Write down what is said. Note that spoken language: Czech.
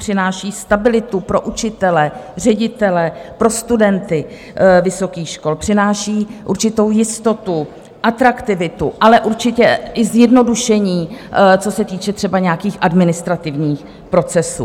Přináší stabilitu pro učitele, ředitele, pro studenty vysokých škol, přináší určitou jistotu, atraktivitu, ale určitě i zjednodušení, co se týče třeba nějakých administrativních procesů.